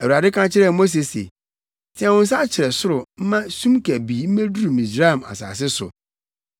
Awurade ka kyerɛɛ Mose se, “Teɛ wo nsa kyerɛ soro mma sum kabii mmeduru Misraim asase so.”